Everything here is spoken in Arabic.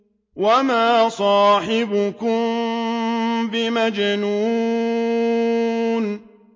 وَمَا صَاحِبُكُم بِمَجْنُونٍ